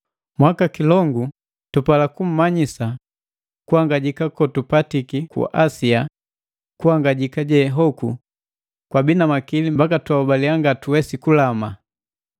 Mwakakilongu, tupala kummanyisa kuhangajika kotupatiki ku Asia, kuhangajika je hoku kwabii na makili mbaka twaholaliya ngatuwesi kulama.